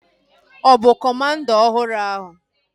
Ọ bụ kọmanda ọhụrụ ahu?